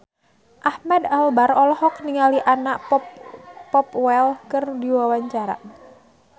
Ahmad Albar olohok ningali Anna Popplewell keur diwawancara